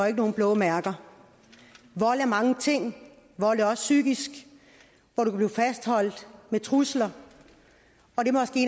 ikke nogen blå mærker vold er mange ting vold er også psykisk du kan blive fastholdt med trusler og det